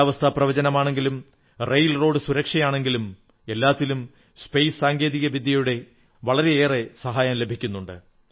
കാലാവസ്ഥാപ്രവചനമാണെങ്കിലും rail road സുരക്ഷയാണെങ്കിലും എല്ലാത്തിലും ബഹിരാകാശ സാങ്കേതികവിദ്യയുടെ വളരെയേറെ സഹായം ലഭിക്കുന്നുണ്ട്